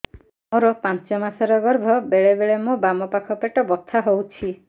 ମୋର ପାଞ୍ଚ ମାସ ର ଗର୍ଭ ବେଳେ ବେଳେ ମୋ ବାମ ପାଖ ପେଟ ବଥା ହଉଛି